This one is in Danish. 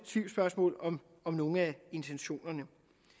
tvivlsspørgsmål om nogle af intentionerne